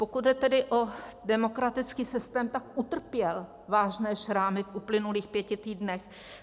Pokud jde tedy o demokratický systém, tak utrpěl vážné šrámy v uplynulých pěti týdnech.